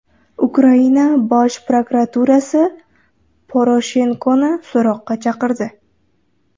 Ukraina Bosh prokuraturasi Poroshenkoni so‘roqqa chaqirdi.